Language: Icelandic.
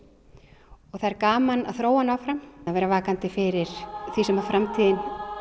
og það er gaman að þróa hann áfram vera vakandi fyrir því sem framtíðin